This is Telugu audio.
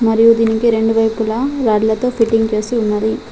మరియు దీనికి రెండు వైపులా రాడ్ల తో ఫిట్టింగ్ చేసి ఉన్నది.